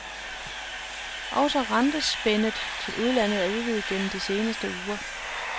Også rentespændet til udlandet er udvidet gennem de seneste uger.